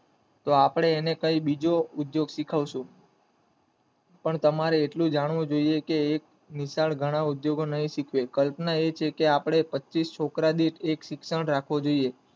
તો આપડે તેને બીજો ઉંધયોગ શીખવશું પણ તમારે એટલું જાણવું જોયે કે એક નીશાળ ઘણા ઉદ્યાયોગ નય શીખવે કલ્પના એ છે કે આપડે પચીસ છોકરા દીઠ એક શિક્ષણ રાખવું જોઈએ.